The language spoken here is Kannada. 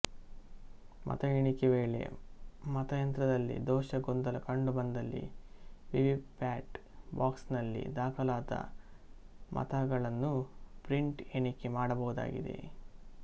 ಮತ ಎಣಿಕೆ ವೇಳೆ ಮತಯಂತ್ರದಲ್ಲಿ ದೋಷ ಗೊಂದಲ ಕಂಡು ಬಂದಲ್ಲಿ ವಿವಿಪ್ಯಾಟ್ ಬಾಕ್ಸ್ ನಲ್ಲಿ ದಾಖಲಾದ ಮತಗಳನ್ನುಪ್ರಿಂಟ್ ಎಣಿಕೆ ಮಾಡಬಹುದಾಗಿದೆ